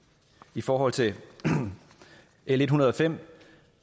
i forhold til l en hundrede og fem